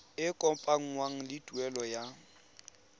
e kopanngwang le tuelo ya